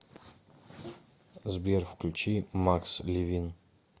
сбер включи макс ливин